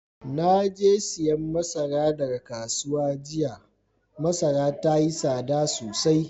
Na je siyan masara daga kasuwa jiya. Masaran yayi sada sosai.